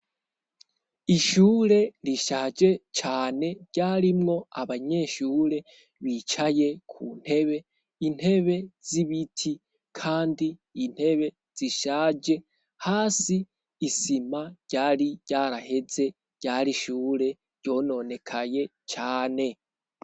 Ishure rishaje cane ryarimwo abanyeshure bicaye ku ntebe, intebe z'ibiti kandi intebe zishaje ,hasi isima ryari ryaraheze ,ryar'ishure ryononekaye cane.